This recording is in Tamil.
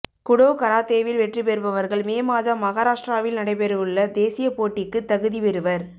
குடோ கராத்தேவில் வெற்றி பெறுபவர்கள் மே மாதம் மகாராஷ்டிராவில் நடைபெறவுள்ள தேசிய போட்டிக்கு தகுதிபெறுவர்